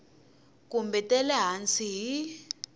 kumbe ta le hansi hi